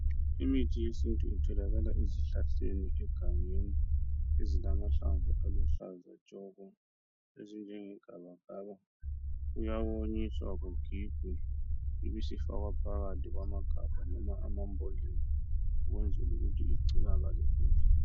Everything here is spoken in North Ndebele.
Imithi yesintu itholakala ezihlahleni egangeni ezilamahlamvu aluhlaza tshoko ezinjenge gabakaba. Kuyawonnyiswa kugigwe ibisfakwa phakathi kwamagabha noma amambodlela ukwenzel' ukuthi igcinakale kuhle.